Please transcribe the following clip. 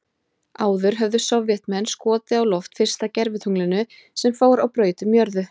Áður höfðu Sovétmenn skotið á loft fyrsta gervitunglinu sem fór á braut um jörðu.